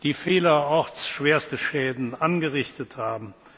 die vielerorts schwerste Schäden angerichtet haben.